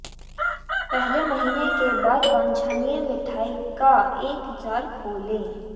पहले महीने के बाद वांछनीय मिठाई का एक जार खोलें